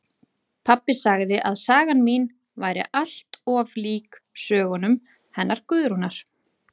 Pabbi sagði að sagan mín væri allt of lík sögunum hennar Guðrúnar